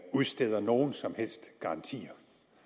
udsteder nogen som helst garantier